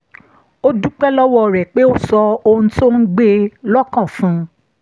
ó dúpẹ́ lọ́wọ́ rẹ̀ pé ó sọ ohun tó ń gbé e lọ́kàn fún un